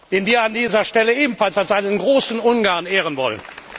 den wir an dieser Stelle ebenfalls als einen großen Ungarn ehren wollen!